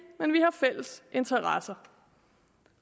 men vi har fælles interesser